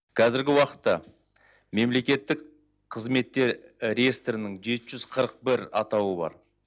қазіргі уақытта мемлекеттік қызметте реестрінің жеті жүз қырық бір атауы бар